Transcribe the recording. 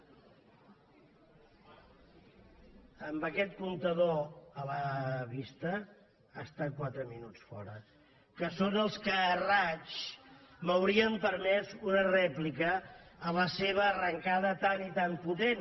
amb aquest comptador a la vista ha estat quatre minuts fora que són els que a raig m’haurien permès una rèplica a la seva arrencada tan i tan potent